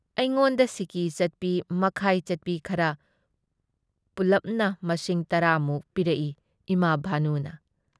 ꯑꯩꯉꯣꯟꯗ ꯁꯤꯀꯤ ꯆꯠꯄꯤ ꯃꯈꯥꯏ ꯆꯠꯄꯤ ꯈꯔ ꯄꯨꯜꯂꯞꯅ ꯃꯁꯤꯡ ꯱꯰ ꯃꯨꯛ ꯄꯤꯔꯛꯏ ꯏꯃꯥ ꯚꯥꯅꯨꯅ ꯫